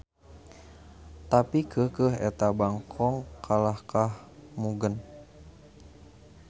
Tapi keukeuh eta bangkong kalahkah mugen.